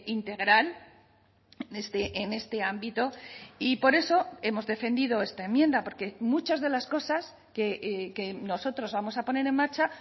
integral en este ámbito y por eso hemos defendido esta enmienda porque muchas de las cosas que nosotros vamos a poner en marcha